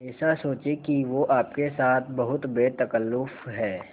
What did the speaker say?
ऐसा सोचें कि वो आपके साथ बहुत बेतकल्लुफ़ है